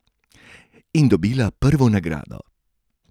In dobila prvo nagrado!